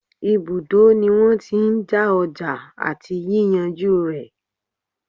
Ibùdó ní wọ́n tí n já ọjà àti yíyànjú rẹ̀.